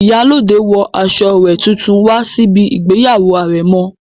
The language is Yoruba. Ìyálóde wọ aṣọ rẹ̀ tuntun wá síbi ìgbéyàwó àrẹ̀mọ